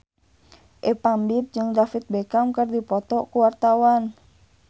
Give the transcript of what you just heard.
Ipank BIP jeung David Beckham keur dipoto ku wartawan